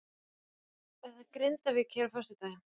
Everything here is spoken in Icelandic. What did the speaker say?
Það er Grindavík hér á föstudaginn.